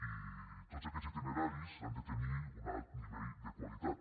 i tots aquest itineraris han de tenir un alt nivell de qualitat